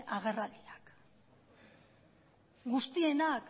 agerraldiak guztienak